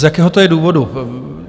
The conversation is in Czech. Z jakého to je důvodu?